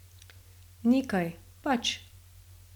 Nekaj, pač.